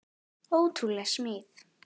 Ótrúleg smíð.